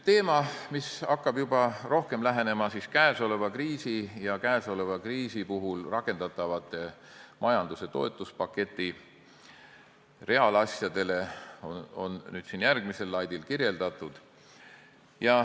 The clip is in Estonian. Teemat, mis hakkab juba rohkem lähenema käesolevale kriisile ja selle puhul rakendatavatele majanduse toetuspaketiga seotud reaalasjadele, on kirjeldatud järgmisel slaidil.